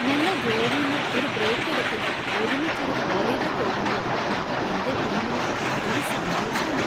ഞങ്ങൾ ജോലീന്ന് ഒരു ബ്രേക്ക് എടുത്ത് ഒരുമിച്ച് ഒരു ഹോളിഡേ പോകുമ്പോൾ എന്‍റെ ടീമിന് അതൊരു സന്തോഷാണ്.